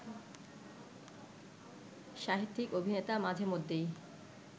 সাহিত্যিক, অভিনেতা মাঝেমধ্যেই